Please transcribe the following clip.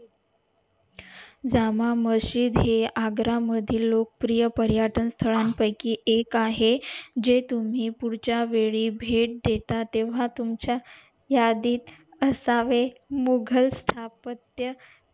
जामा मशीद हे आग्रा मधील लोकप्रिय पर्यटन स्थळा पयकी एक आहे जे तुम्ही पुढच्या वेळी भेट देता तेव्हा तुमच्या यादीत असावे मुघल स्थापत्य